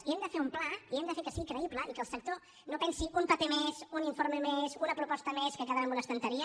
i hem de fer un pla i hem de fer que sigui creïble i que el sector no pensi un paper més un informe més una proposta més que quedarà en una estanteria